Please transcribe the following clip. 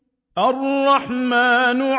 الرَّحْمَٰنُ